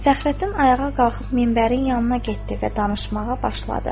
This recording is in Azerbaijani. Fəxrəddin ayağa qalxıb minbərin yanına getdi və danışmağa başladı.